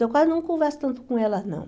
Então, eu quase não converso tanto com elas, não.